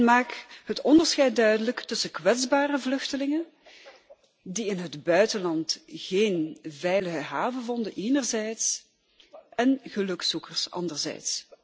Maak het onderscheid duidelijk tussen kwetsbare vluchtelingen die in het buitenland geen veilige haven vonden enerzijds en gelukzoekers anderzijds.